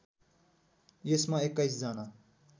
यसमा २१ जना